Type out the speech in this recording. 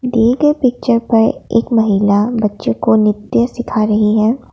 दिए गए पिक्चर पर एक महिला बच्चों को नृत्य सीखा रही है।